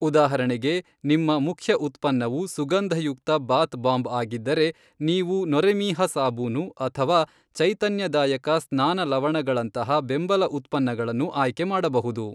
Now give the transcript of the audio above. ಉದಾಹರಣೆಗೆ, ನಿಮ್ಮ ಮುಖ್ಯ ಉತ್ಪನ್ನವು ಸುಗಂಧಯುಕ್ತ ಬಾತ್ ಬಾಂಬ್ ಆಗಿದ್ದರೆ, ನೀವು ನೊರೆಮೀಹ ಸಾಬೂನು ಅಥವಾ ಚೈತನ್ಯದಾಯಕ ಸ್ನಾನ ಲವಣಗಳಂತಹ ಬೆಂಬಲ ಉತ್ಪನ್ನಗಳನ್ನು ಆಯ್ಕೆ ಮಾಡಬಹುದು.